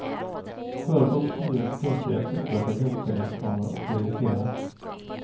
Företag och kommuner struntar i att upprätta jämställdhetsplaner och det irriterar.